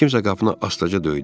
Kimsə qapını asta-asta döydü.